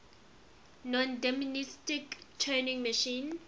nondeterministic turing machine